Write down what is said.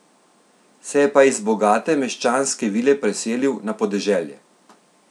Se je pa iz bogate meščanske vile preselil na podeželje.